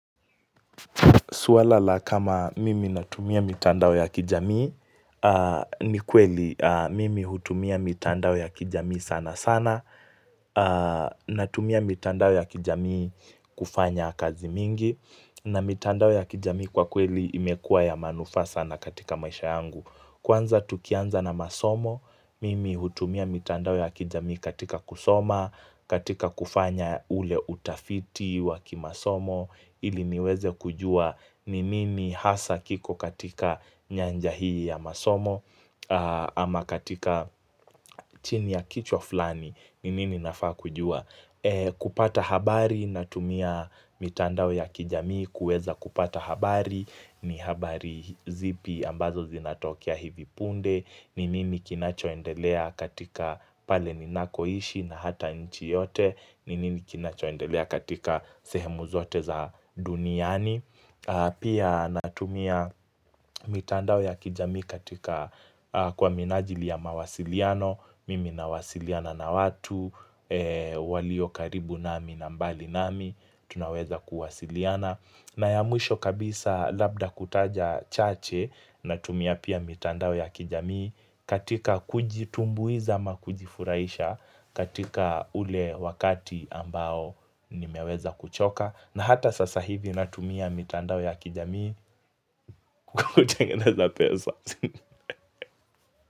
Swala la kama mimi natumia mitandao ya kijamii, ni kweli mimi hutumia mitandao ya kijamii sana sana, natumia mitandao ya kijamii kufanya kazi mingi, na mitandao ya kijamii kwa kweli imekua ya manufaa sana katika maisha yangu. Kwanza tukianza na masomo, mimi hutumia mitandao ya kijamii katika kusoma, katika kufanya ule utafiti waki masomo, ili niweze kujua ni nini hasa kiko katika nyanja hii ya masomo, ama katika chini ya kichwa flani ni nini nafaa kujua. Kupata habari natumia mitandao ya kijamii kueza kupata habari ni habari zipi ambazo zinatokea hivi punde ni nini kinachoendelea katika pale ninakoishi na hata nchi yote ni nini kinachoendelea katika sehemu zote za duniani Pia natumia mitandao ya kijamii katika kwa minajili ya mawasiliano Mimi na wasiliana na watu walio karibu nami na mbali nami Tunaweza kuwasiliana na ya mwisho kabisa labda kutaja chache na tumia pia mitandao ya kijamii katika kujitumbuiza ama kujifuraisha katika ule wakati ambao nimeweza kuchoka na hata sasa hivi natumia mitandao ya kijamii Kukutengeneza pesa.